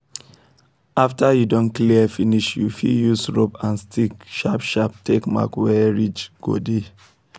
after you don clear finish you fit use rope and stick sharp sharp take mark where ridge go dey